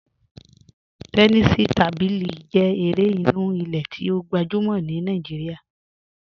Tẹ́nìsí tábílí jẹ èrè ìnú ìlẹ̀ tí o gbajúmọ̀ ní Naijíríà,